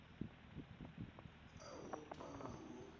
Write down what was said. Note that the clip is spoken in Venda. a u ṱwa na u